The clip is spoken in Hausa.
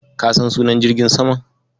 Ka san sunan jirgin saman?